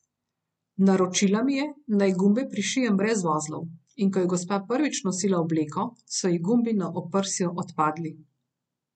Naročila mi je, naj gumbe prišijem brez vozlov, in ko je gospa prvič nosila obleko, so ji gumbi na oprsju odpadli.